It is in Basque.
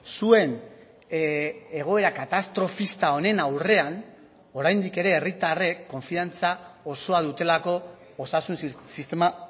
zuen egoera katastrofista honen aurrean oraindik ere herritarrek konfiantza osoa dutelako osasun sistema